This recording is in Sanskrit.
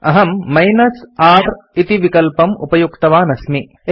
अहम् r इति विकल्पम् उपयुक्तवान् अस्मि